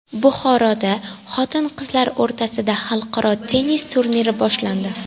Buxoroda xotin-qizlar o‘rtasida xalqaro tennis turniri boshlandi.